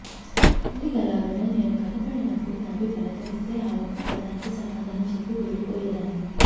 ఇంటిగలావిడ నేను కనబడినప్పుడు నవ్వి పలకరిస్తే ఆ ఒక్క పదానికి సమాధానం చెప్పి వెళ్లిపోయేదాన్ని